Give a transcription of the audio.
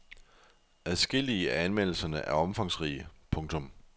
Adskillige af anmeldelserne er omfangsrige. punktum